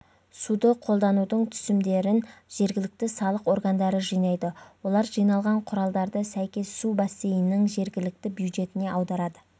суды қолданудың түсімдерін жергілікті салық органдары жинайды олар жиналған құралдарды сәйкес су бассейнінің жергілікті бюджетіне аударады